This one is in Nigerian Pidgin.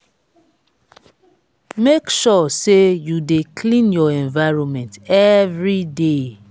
make sure say you de clean your environment every day